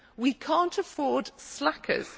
We cannot afford slackers.